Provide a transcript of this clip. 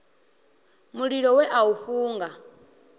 mulilo we a u funga